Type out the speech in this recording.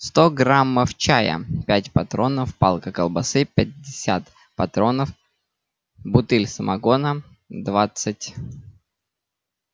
сто граммов чая пять патронов палка колбасы пятьдесят патронов бутыль самогона двадцать